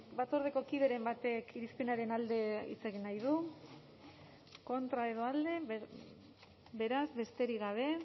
batzordeko kideren batek irizpenaren alde hitz egin nahi du kontra edo alde beraz besterik gabe